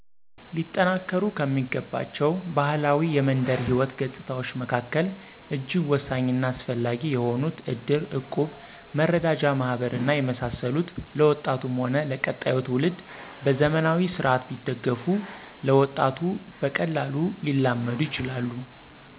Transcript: ሊጠናከሩ ከሚገባቸው ባህላዊ የመንደር ሕይወት ገጽታዎች መካከል እጅግ ወሳኝና አስፈላጊ የሆኑት ዕድር፣ ዕቁብ፣ መረዳጃ ማህበር እና የመሳሰሉት ለወጣቱም ሆነ ለቀጣዩ ትውልድ በዘመናዊ ስርዓት ቢደገፉ ለወጣቱ በቀላሉ ሊላመዱ ይችላሉ።